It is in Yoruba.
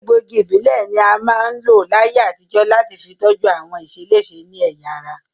Egbòogi ìbílẹ̀ ní wọ́n máa ń lò láyé àtijọ́ láti fi tọ́jú àwọn ìṣeléṣe ní ẹ̀yà ara